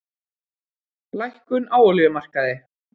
Lækkun á olíumarkaði